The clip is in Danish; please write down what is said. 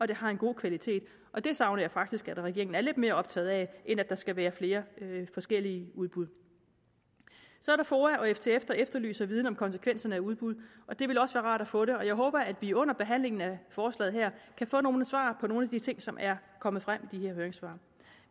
det har en god kvalitet og det savner jeg faktisk at regeringen er lidt mere optaget af end at der skal være flere forskellige udbud så er der foa og ftf der efterlyser viden om konsekvenserne af udbud og det ville også være rart at få det og jeg håber at vi under behandlingen af forslaget her kan få nogle svar på nogle af de ting som er kommet frem i de her høringssvar